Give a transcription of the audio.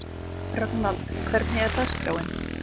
Rögnvald, hvernig er dagskráin?